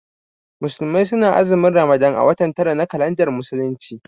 Musulmai su na azumin Ramadan a watan tara na kalandar musulunci